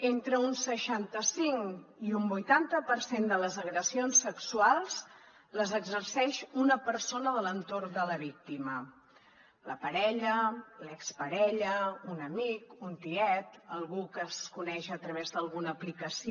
entre un seixanta cinc i un vuitanta per cent de les agressions sexuals les exerceix una persona de l’entorn de la víctima la parella l’exparella un amic un tiet algú que es coneix a través d’alguna aplicació